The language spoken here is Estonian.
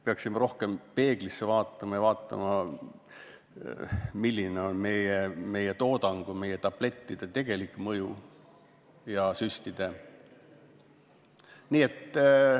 Peaksime rohkem peeglisse vaatama ja ka vaatama, milline on meie toodangu või meie tablettide ja süstide tegelik mõju.